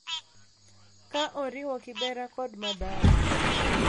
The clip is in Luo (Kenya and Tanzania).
Ka oriwo Kibera kod Mathare,